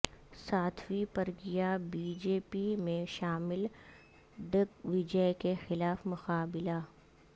Sadhvi Pragya BJP میں شامل Digvijay کے خلاف مقابلہ